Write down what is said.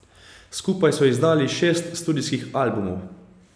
Skupaj so izdali šest studijskih albumov.